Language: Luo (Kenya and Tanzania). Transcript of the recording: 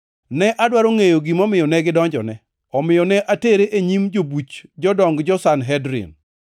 Ne adwaro ngʼeyo gimomiyo ne gidonjone, omiyo ne atere e nyim jobuch jodong jo-Sanhedrin.